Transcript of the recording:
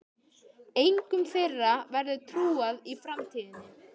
Engum þeirra verður trúað í framtíðinni.